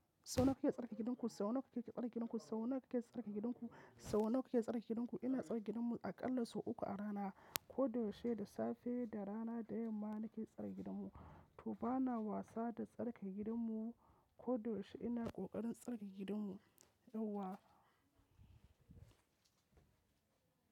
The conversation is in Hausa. Sau nawa kike tsarkake gidanku? Sau nawa kike tsarkake gidanku? Sau nawa kike tsarkake gidanku? Sau nawa kike tsarkake gidanku? Ina tsarkake gidanmu aƙalla sau uku a rana. Ko da yaushe, da safe da rana da yamma nake tsarkake gidanmu. To bana wasa da tsarkake gidanmu. Ko da yaushe ina ƙoƙarin tsarkake gidanmu. Yauwa.